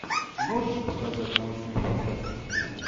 можешь показать научную фантастику